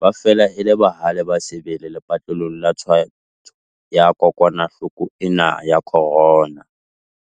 Ba fela e le bahale ba sebele lepatlelong la twantsho ya kokwanahloko ena ya corona.